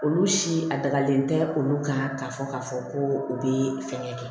Olu si a dalen tɛ olu kan k'a fɔ k'a fɔ ko u bɛ fɛnkɛ